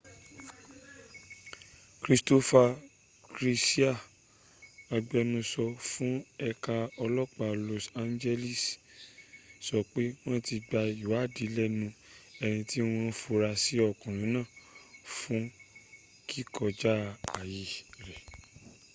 christopher garcia agbẹnusọ fún ẹ̀ka ọlọ́pa los angeles sọ pé wọ́n ti gba ìwádìí lẹnu eni tí wọ́n fura sí ọkùnrin náà fún kíkọjá ayè rẹ́